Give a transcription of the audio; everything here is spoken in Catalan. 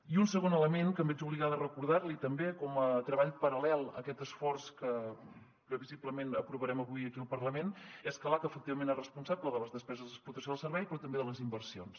i un segon element que em veig obligada a recordar li també com a treball paral·lel a aquest esforç que previsiblement aprovarem avui aquí al parlament és que l’aca efectivament és responsable de les despeses d’explotació del servei però també de les inversions